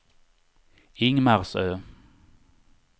Ingmarsö